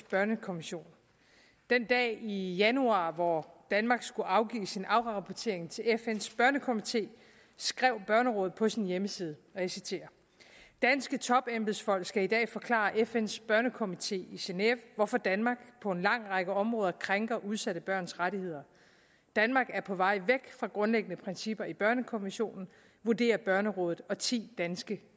børnekonvention den dag i januar hvor danmark skulle afgive sin afrapportering til fns børnekomité skrev børnerådet på sin hjemmeside og jeg citerer danske topembedsfolk skal i dag forklare fn’s børnekomité i geneve hvorfor danmark på en lang række områder krænker udsatte børns rettigheder danmark er på vej væk fra grundlæggende principper i børnekonventionen vurderer børnerådet og ti danske